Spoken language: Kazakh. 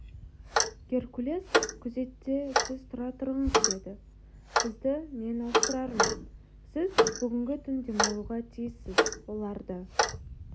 геркулес күзетте сіз тұра тұрыңыз деді сізді мен ауыстырармын сіз бүгінгі түн демалуға тиіссіз оларды